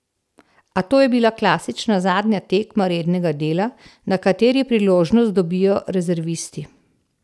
A to je bila klasična zadnja tekma rednega dela, na kateri priložnost dobijo rezervisti.